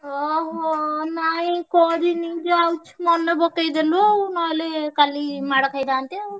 ହଁ ହଁ ନାଇଁ କରିନି ଯାଉଛି ମାନେପକେଇଦେଲୁ ଆଉ ନହେଲେ କାଲି ମାଡ଼ ଖାଇଥାନ୍ତେ ଆଉ।